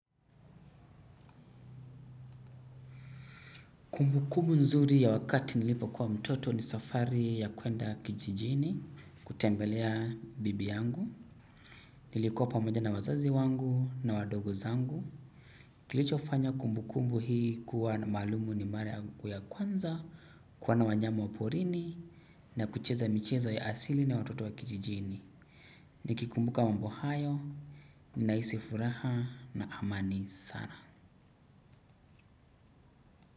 Kumbu kumbu nzuri ya wakati nilipo kuwa mtoto ni safari ya kuenda kijijini, kutembelea bibi yangu. Nilikuwa pamoja na wazazi wangu na wadogo zangu. Kilichofanya kumbu kumbu hii kuwa na maalumu ni mara yangu ya kwanza, kuona wanyama wa porini, na kucheza michezo ya asili na watoto wa kijijini. Nikikumbuka mambo hayo, ninahisi furaha na amani sana.